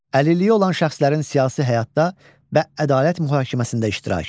Əlilliyi olan şəxslərin siyasi həyatda və ədalət mühakiməsində iştirakı.